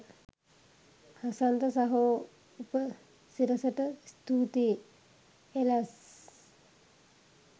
හසන්ත සහෝ උපසිරසට ස්තූතියි එලස්ස්ස්